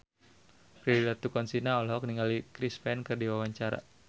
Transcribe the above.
Prilly Latuconsina olohok ningali Chris Pane keur diwawancara